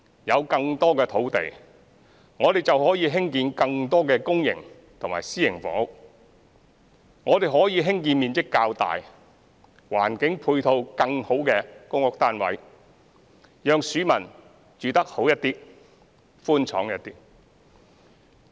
有更多土地，我們便可以興建更多公營及私營房屋，我們可以興建面積較大、環境配套更好的公屋單位，讓市民住得好一點、寬敞一點。